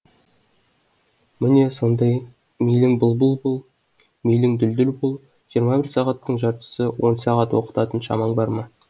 міне сондай мейлің бұлбұл бұл мейлің дүлдүл бұл жиырма бір сағаттың жартысы он сағат оқытатын шамаң бар ма